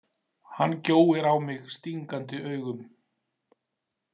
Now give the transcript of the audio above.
Hann gjóir á mig stingandi augum.